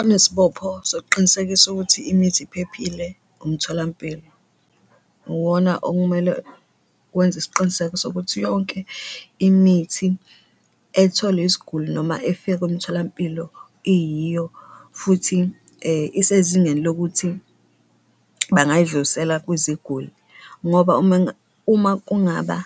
Onesibopho sokuqinisekisa ukuthi imithi iphephile umtholampilo, uwona okumele wenze isiqiniseko sokuthi yonke imithi ethole isiguli noma efika emtholampilo iyiyo futhi isezingeni lokuthi bangayidlulisela kwiziguli ngoba uma uma kungaba